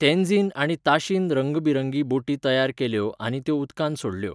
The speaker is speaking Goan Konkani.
तेन्झीन आनी ताशीन रंगबिरंगी बोटी तयार केल्यो आनी त्यो उदकांत सोडल्यो.